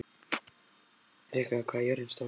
Rikka, hvað er jörðin stór?